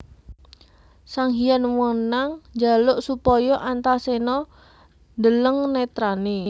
Sanghyang Wenang njaluk supaya Antaséna ndeleng netrané